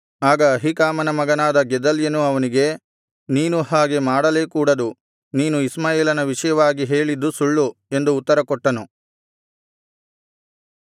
ಆಗ ಅಹೀಕಾಮನ ಮಗನಾದ ಗೆದಲ್ಯನು ಅವನಿಗೆ ನೀನು ಹಾಗೆ ಮಾಡಲೇ ಕೂಡದು ನೀನು ಇಷ್ಮಾಯೇಲನ ವಿಷಯವಾಗಿ ಹೇಳಿದ್ದು ಸುಳ್ಳು ಎಂದು ಉತ್ತರಕೊಟ್ಟನು